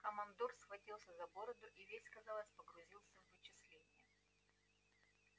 командор схватился за бороду и весь казалось погрузился в вычисления